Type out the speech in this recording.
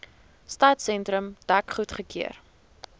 stadsentrum dek goedgekeur